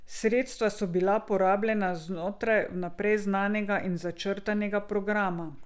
Sredstva so bila porabljena znotraj vnaprej znanega in začrtanega programa.